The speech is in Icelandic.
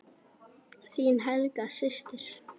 Þín Helga systir.